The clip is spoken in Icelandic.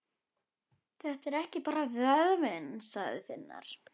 Þetta er bara vöðvinn, sagði Finnur.